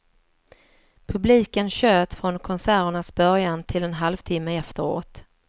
Publiken tjöt från konserternas början till en halvtimme efteråt.